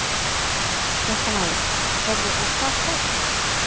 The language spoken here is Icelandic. Fréttamaður: Heyrðu og hvað tók hann?